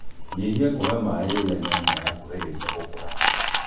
nyĩhĩa kũhe maĩ rĩrĩa nyanya yakũhĩrĩrĩa gũkũra